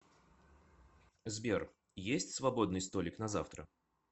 сбер есть свободный столик на завтра